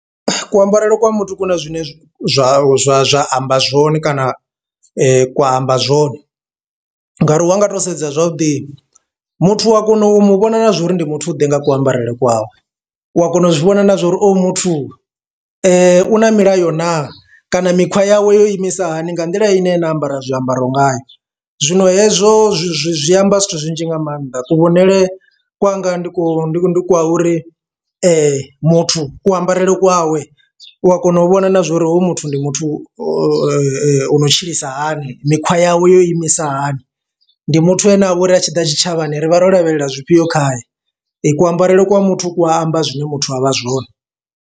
Kuambarele kwa muthu ku na zwine zwa zwa zwa zwa amba zwone kana kwa amba zwone, ngauri wa nga to sedza zwavhuḓi muthu u a kona u mu vhona na zwa uri ndi muthu ḓe nga ku ambarele kwawe, u a kona u zwi vhona na zwa uri oyo muthu u na milayo na kana mikhwa yawe yo imisa hani nga nḓila ine nda ambara zwiambaro ngayo. Zwino hezwo zwi zwi amba zwithu zwinzhi nga maanḓa kuvhonele kwanga ndi ku kwa uri muthu ku ambarele kwawe u a kona u vhona na zwa uri hoyu muthu ndi muthu ono tshilisa hani mikhwa yawe yo imisa hani. Ndi muthu ane a vha uri a tshiḓa tshitshavhani rivha ro lavhelela zwifhio khaye. Ku ambarele kwa muthu ku a amba zwine muthu avha zwone.